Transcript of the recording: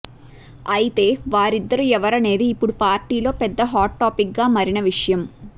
అయితే వారిద్దరు ఎవరనేది ఇప్పుడు పార్టీలో పెద్ద హాట్ టాఫిక్గా మరిన విషయం